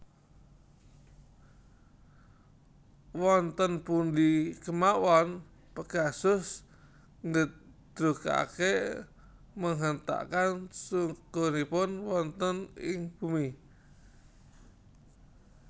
Wonten pundi kemawon Pegasus nggedrugake menghentakkan sukunipun wonten ing bumi